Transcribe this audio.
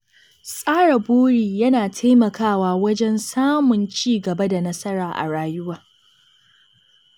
Tsara buri yana taimakawa wajen samun ci gaba da nasara a rayuwa.